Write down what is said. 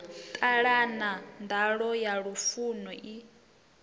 ṱalana nḓala ya lufuno i